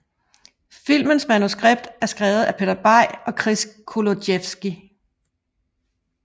Filmens manuskript er skrevet af Peter Bay og Kris Kolodziejski